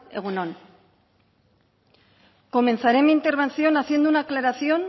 egun on comenzaré mi intervención haciendo una aclaración